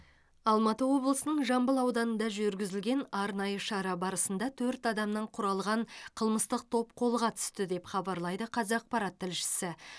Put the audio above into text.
алматы облысының жамбыл ауданында жүргізілген арнайы шара барысында төрт адамнан құралған қылмыстық топ қолға түсті деп хабарлайды қазақпарат тілшісі